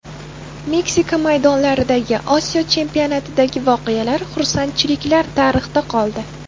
Meksika maydonlaridagi, Osiyo chempionatidagi voqealar, xursandchiliklar tarixda qoldi.